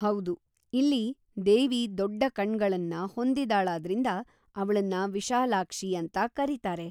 ಹೌದು, ಇಲ್ಲಿ ದೇವಿ ದೊಡ್ಡ ಕಣ್ಗಳನ್ನ ಹೊಂದಿದಾಳಾದ್ರಿಂದ ಅವ್ಳನ್ನ ವಿಶಾಲಾಕ್ಷಿ ಅಂತ ಕರೀತಾರೆ.